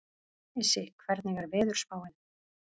Issi, hvernig er veðurspáin?